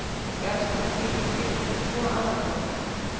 Jarðskjálftabylgjur skiptast í tvo aðalflokka.